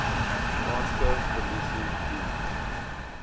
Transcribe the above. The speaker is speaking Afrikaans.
kaanse polisie diens